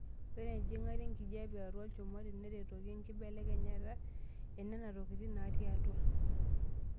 Ore enjing'ata enkijiape atua olchumati neretoki enkibelekenyata enenatokitin natii atua.